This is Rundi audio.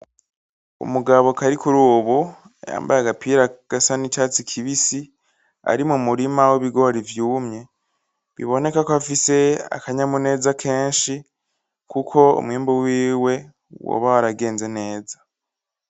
Umugabo Karikurubu yambaye agapira gasa n’icatsi kibisi ari mumurima w’ibigori vyumye. Biboneka ko afise akanyamuneza kenshi Kuko umwimbu wiwe woba waragenze neza.